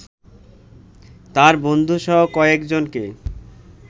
তার বন্ধুসহ কয়েকজনকে